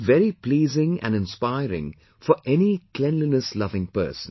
This is very pleasing and inspiring for any cleanliness loving person